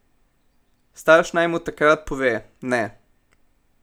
Starš naj mu takrat pove: 'Ne.